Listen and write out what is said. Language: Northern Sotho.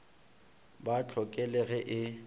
ba hloke le ge e